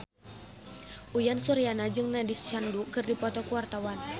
Uyan Suryana jeung Nandish Sandhu keur dipoto ku wartawan